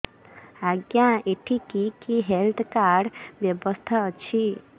ଆଜ୍ଞା ଏଠି କି କି ହେଲ୍ଥ କାର୍ଡ ବ୍ୟବସ୍ଥା ଅଛି